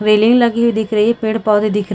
railing लगी हुई दिख रही है पेड़ - पौधे दिख र--